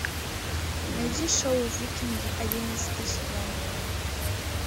найди шоу викинги одиннадцатый сезон